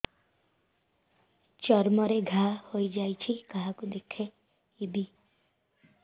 ଚର୍ମ ରେ ଘା ହୋଇଯାଇଛି କାହାକୁ ଦେଖେଇବି